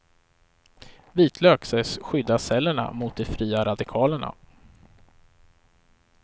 Vitlök sägs skydda cellerna mot de fria radikalerna.